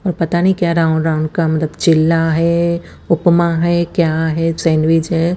और पता नी क्या राउंड राउंड का मतलब चिला है उपमा है क्या है सेंडविच है।